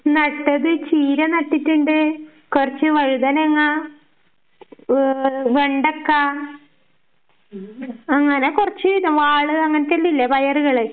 നട്ടത്, ചീര നട്ടിട്ടുണ്ട്, കൊറച്ച് വഴുതനങ്ങ, ആഹ് വെണ്ടക്കാ, അങ്ങനെ കൊറച്ച് വാള് അങ്ങനത്തെ ഇല്ലേ പയറുകള്